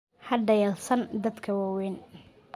Ha dhayalsan dadka waaweyn.